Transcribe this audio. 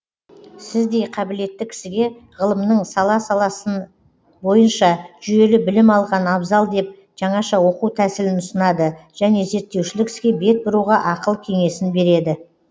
сіздей қабілетті кісіге ғылымның сала саласы бойынша жүйелі білім алған абзал деп жаңаша оқу тәсілін ұсынады және зерттеушілік іске бет бұруға ақыл кеңесін береді